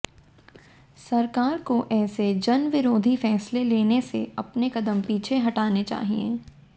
सरकार को ऐसे जनविरोधी फैसले लेने से अपने कदम पीछे हटाने चाहिए